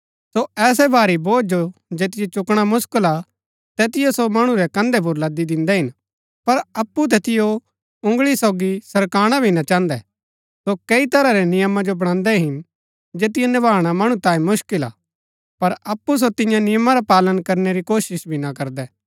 सो ऐसै भारी बोझ जो जैतिओ चुकणा मुसकल हा तैतिओ सो मणु रै कन्धै पुर लदी दिन्दै हिन पर अप्पु तैतिओ उँगळी सोगी सरकाणा भी ना चाहन्दै सो कैई तरह रै नियमा जो बणान्दै हिन जैतिओ निभाणा मणु तांयें मुसकिल हा पर अप्पु सो तियां नियमा रा पालन करणै री कोशिश भी ना करदै